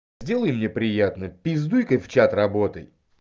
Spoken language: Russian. сделай мне приятно пиздуйка в чат работай